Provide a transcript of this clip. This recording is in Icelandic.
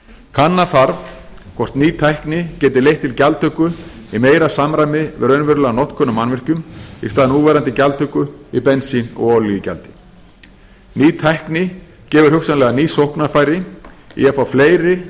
kanna þarf hvort ný tækni geti leitt til gjaldtöku í meira samræmi við raunverulega notkun á mannvirkjum í stað núverandi gjaldtöku í bensín og olíugjaldi ný tækni gefur hugsanlega ný sóknarfæri í að fá fleiri að gerð